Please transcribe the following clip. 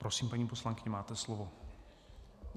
Prosím, paní poslankyně, máte slovo.